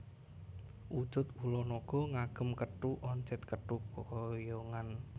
Wujud ula naga ngagem kethu oncit kethu keyongan